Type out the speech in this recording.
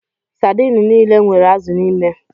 Sadini niile nwere azụ n'ime.